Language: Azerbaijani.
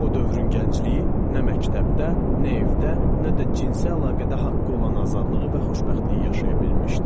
O dövrün gəncliyi nə məktəbdə, nə evdə, nə də cinsi əlaqədə haqqı olan azadlığı və xoşbəxtliyi yaşaya bilmişdi.